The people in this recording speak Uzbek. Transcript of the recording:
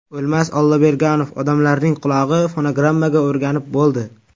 O‘lmas Olloberganov: Odamlarning qulog‘i fonogrammaga o‘rganib bo‘ldi.